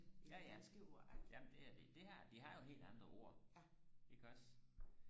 ja ja jamen det er det det her de har jo et helt andet ord iggås